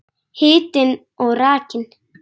Hitinn og rakinn.